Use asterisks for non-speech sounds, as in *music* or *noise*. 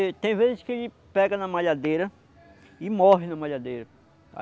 *unintelligible* tem vezes que ele pega na malhadeira e morre na malhadeira.